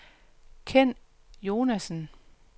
Kenn Jonassen